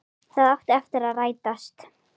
Það átti eftir að rætast.